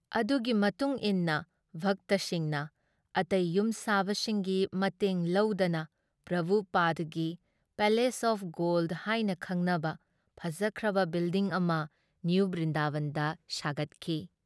ꯑꯗꯨꯒꯤ ꯃꯇꯨꯨꯡꯏꯟꯅ ꯚꯛꯇꯁꯤꯡꯅ ꯑꯇꯩ ꯌꯨꯝꯁꯥꯕꯁꯤꯡꯒꯤ ꯃꯇꯦꯡ ꯂꯧꯗꯅ ꯄ꯭ꯔꯚꯨꯄꯥꯗꯒꯤ ꯄꯦꯂꯦꯁ ꯑꯣꯐ ꯒꯣꯜꯗ ꯍꯥꯏꯅ ꯈꯪꯅꯕ ꯐꯖꯈ꯭ꯔꯕ ꯕꯤꯜꯗꯤꯡ ꯑꯃ ꯅꯤꯌꯨ ꯕ꯭ꯔꯤꯟꯗꯥꯕꯟꯗ ꯁꯥꯒꯠꯈꯤ ꯫